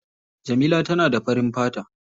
Jamila tana da farin fata.